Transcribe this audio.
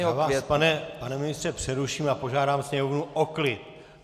Já vás, pane ministře, přeruším a požádám sněmovnu o klid.